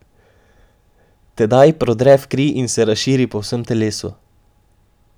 Tedaj prodre v kri in se razširi po vsem telesu.